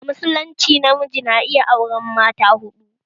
A musulunce namiji na iya auren mata huɗu